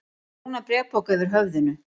Með brúnan bréfpoka yfir höfðinu?